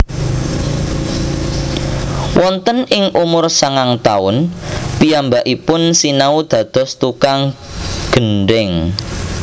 Wonten ing umur sangang taun piyambakipun sinau dados tukang gendheng